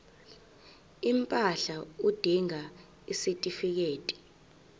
impahla udinga isitifikedi